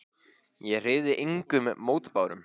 Ég hreyfði engum mótbárum.